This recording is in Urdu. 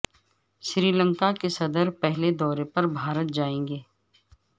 سری لنکا کے صدر پہلے دورے پر بھارت جائیں گے